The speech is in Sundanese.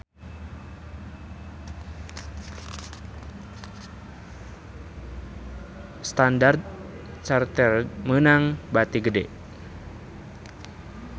Standard Chartered meunang bati gede